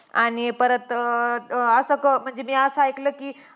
आणि परत अं अं असं क~ म्हणजे मी असं ऐकलं कि